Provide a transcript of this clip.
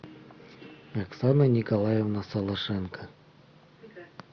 оксана николаевна солошенко